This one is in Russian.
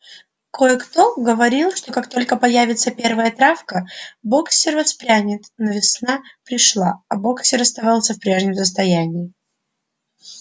кое-кто говорил что как только появится первая травка боксёр воспрянет но весна пришла а боксёр оставался в прежнем состоянии